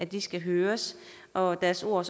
de skal høres og deres ord